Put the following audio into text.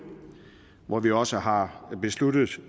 hvor vi også har besluttet